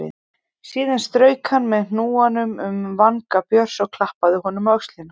Síðan strauk hann með hnúanum um vanga Björns og klappaði honum á öxlina.